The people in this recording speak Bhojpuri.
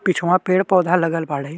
पिछवा पेड़-पौधा लगल बाड़े।